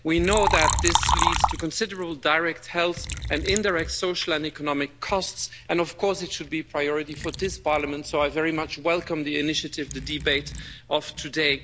We know that this leads to considerable direct health and indirect social and economic costs, and of course it should be a priority for this Parliament, so I very much welcome the initiative, the debate of today.